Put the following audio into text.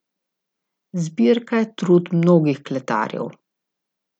Zbirka je trud mnogih kletarjev.